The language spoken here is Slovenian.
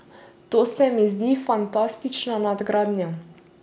To se mi zdi fantastična nadgradnja.